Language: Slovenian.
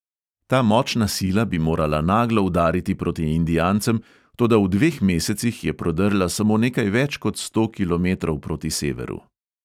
Ta močna sila bi morala naglo udariti proti indijancem, toda v dveh mesecih je prodrla samo nekaj več kot sto kilometrov proti severu.